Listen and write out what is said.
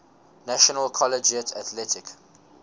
national collegiate athletic